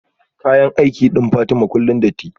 kayan aiki din Fatima kullum datti